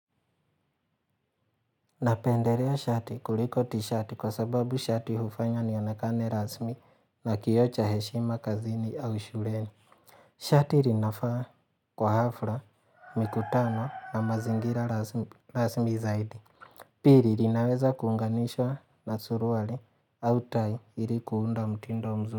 Napenderea shati kuliko tishati kwa sababu shati hufanya nionakane rasmi na kioo cha heshima kazini au shureni. Shati rinafaa kwa hafla mikutano na mazingira rasmi zaidi. Piri rinaweza kuunganishwa na suruwali au tai ili kuunda mtindo mzuri.